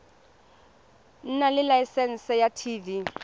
nna le laesense ya tv